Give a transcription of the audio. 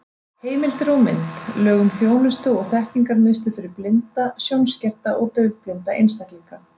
Heimildir og mynd: Lög um þjónustu- og þekkingarmiðstöð fyrir blinda, sjónskerta og daufblinda einstaklinga.